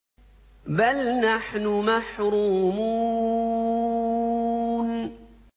بَلْ نَحْنُ مَحْرُومُونَ